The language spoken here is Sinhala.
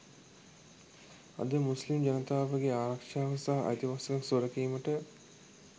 අද මුස්ලිම් ජනතාවගේ ආරක්ෂාව සහ අයිතිවාසිකම් සුරැකීමට